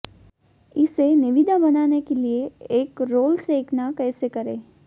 इसे निविदा बनाने के लिए एक रोल सेंकना कैसे करें